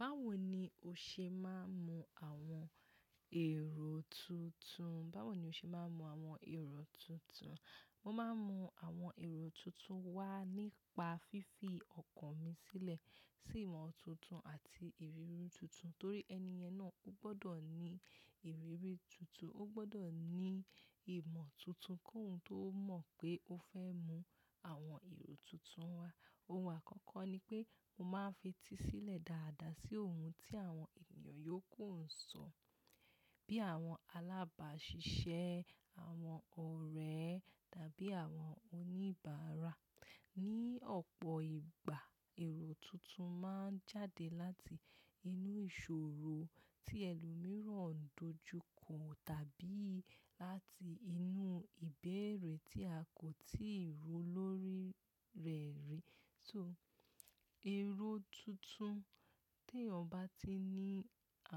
Bá wò ní o ṣe máa ń man àwọn èrò tuntun? Báwo ni o ṣe máa ń man àwọn èrò tuntun? Mo máa ń mu àwọn èrò tuntun wá nípa fífi ọkàn mi sílẹ̀ sí ìmọ̀ tuntun àti ìrírí tuntun. Torí ẹniyẹn náà, o gbọdọ̀ ní ìrírí tuntun, o gbọdọ̀ ní ìmọ̀ tuntun kí òun tó mọ̀ pé ó fẹ́ mu àwọn èrò tuntun wá. Ohun àkọ́kọ́ ni pé mo máa ń fetísílẹ̀ dáadáa sí ohun tí àwọn ènìyàn yóò kùn sọ̀, bí àwọn alábàásisẹ́, àwọn ọ̀rẹ́ tàbí àwọn oníbàárà. Ní ọ̀pọ̀ ìgbà, èrò tuntun máa ń jáde láti inú ìṣòrò tí ẹlòmíràn ń dojúkọ̀ tàbí láti inú ìbéèrè tí a kò tíì rò lórí rẹ̀ rí. So èrò tuntun, tí ẹyan bá ti ní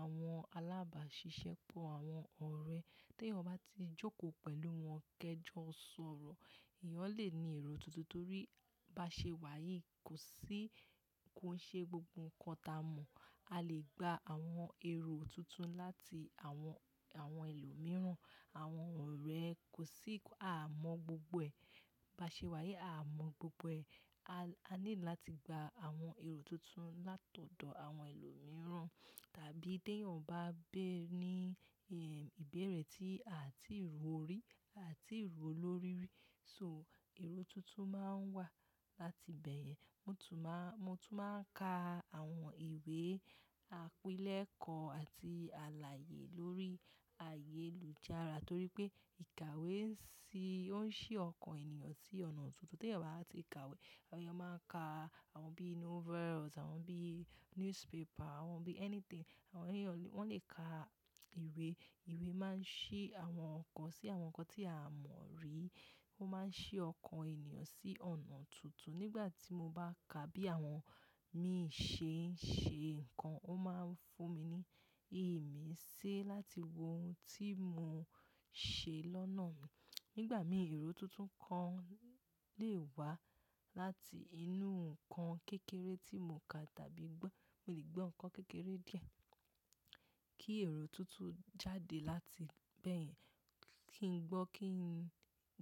àwọn alábàáṣiṣẹ́, pọ̀ àwọn ọ̀rẹ́, tí ẹyọ bá ti jókò pẹ̀lú wọn kẹ́jọ sọ̀rọ̀, ẹ̀yan lè ní èrò tuntun torí bá ṣe wáyì kò sí kò ṣe gbogbo nǹkan ta mọ̀. A lè gba àwọn èrò tuntun láti àwọn, àwọn ẹlòmíràn, àwọn ọ̀rẹ́ kò sí a mọ̀ gbogbo ẹ̀. Bá ṣe wáyì, a mọ̀ gbogbo ẹ̀. A néedr láti gba àwọn èrò tuntun látọ̀ọ̀dọ̀ àwọn ẹlòmíràn tàbí tí ẹyan bá bí ní, ehm, ìbéèrè tí a tí rò rí, a tí rò lórí rí. So èrò tuntun máa ń wà láti bẹ́ẹ̀ yẹn. Mo tún máa, mo tún máa ń ka àwọn ìwé, àpílẹ̀kọ́ àti àlàyé lórí ayéloujára torí pé ìkàwé ń sí, ó ń ṣí ọkàn ènìyàn sí ọ̀nà tuntun. Tí ẹyan bá ti ka ìkàwé, ẹyọ máa ń ka àwọn bí novels, àwọn bí newspaper, àwọn bí anything. Àwọn ènìyàn lè, wọ́n lè ka ìwé. Ìwé máa ń ṣí àwọn ọkàn sí àwọn nǹkan tí a mọ̀ rí. Ó máa ń ṣí ọkàn ènìyàn sí ọ̀nà tuntun. Nígbà tí mo bá ka bí àwọn, mi ṣe ń ṣe nǹkan, ó máa ń fún mi ní ìmíṣe láti wo ohun tí mo ṣe lọ́nà mi. Nígbà mí èrò tuntun kan lè wá láti inú nǹkan kékeré tí mo kà tàbí gbọ́. Mo lè gbọ́ nǹkan kékeré díẹ̀, kí èrò tuntun jáde láti bẹ́ẹ̀ Kí n gbọ́, kí n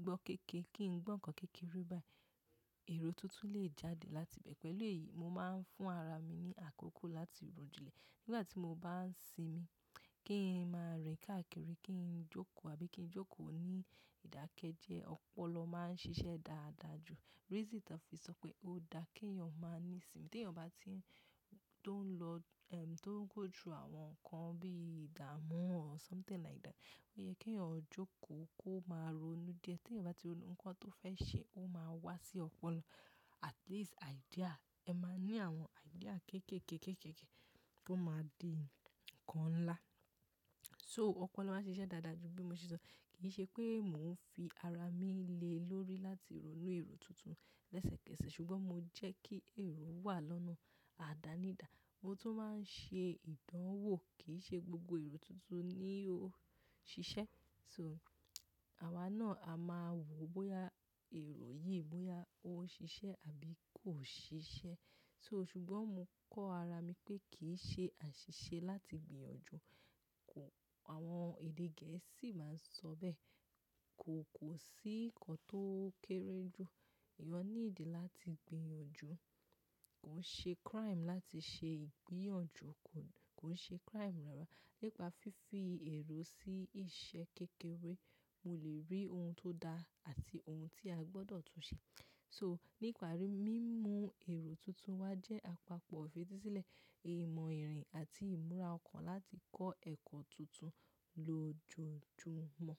gbọ́ kékeré, kí n gbọ́ nǹkan kékeré bẹ́ẹ̀, èrò tuntun lè jáde láti bẹ́ẹ̀. Pẹ̀lú èyí, mo máa ń fún ara mi ní àkókò láti ro jìnlè. Nígbà tí mo bá ń sinmi, kí n máa rìn káàkiri, kí n jókò àbí kí n jókò ní ìdákẹ́jẹ, ọpọlọ máa ń ṣiṣẹ́ dáadáa jù. Reason tànfí sọ pé ó dáa kí ẹyan máa ní sinmi. Ti ẹyan bá ti ń, tó ń lọ, ehm, tó ń gó through àwọn nǹkan bí ìdámu or something like that, ó yẹ kí ẹyọ jókò kó máa ronú díẹ̀. Ti ẹyan bá ti ronú nǹkan tó fẹ́ ṣe, ó máa wá sí ọpọlọ. At least idea, ẹ máa ní àwọn idea kékeké, kékeké, tó máa di nǹkan ńlá. So ọpọlọ máa ń ṣiṣẹ́ dáadáa jù bí mo ṣe sọ. Kì í ṣe pé mò ń fi ara lile lórí láti ri èrò tuntun lẹ́sẹ̀kẹ́sẹ̀ ṣùgbọ́n mo jẹ́ kí èrò wà lọ́nà àdánídá. Mo tún máa ń ṣe ìdánwò, kì í ṣe gbogbo èrò tuntun ni ó ṣiṣẹ́. So àwá náà a máa wò bóyá èrò yìí, bóyá ó ṣiṣẹ́ àbí kò ṣiṣẹ́. So ṣùgbọ́n mo kọ́ ara mi pé kì í ṣe àṣiṣe láti gbìnyànjú. Àwọn èdè Gẹ̀ẹ́sì máa ń sọ bẹ́ẹ̀, "kò kò sí nǹkan tó kéré jù, ẹyan needí láti gbìnyànjú." Kò ń ṣe crime láti ṣe ìgbínyànjú, kò ń ṣe crime Nípa fífi èrò sí ìṣẹ́ kékeré, mo lè rí ohun tó dáa àti ohun tí a gbọdọ̀ tun ṣe. So nípàrí, mímu èrò tuntun wá jẹ́ àpapọ̀ ífètísílẹ̀ ìmọ̀ ìrìn àti ìmúra ọkàn láti kọ́ ẹ̀kọ́ tuntun lojoojúmọ́.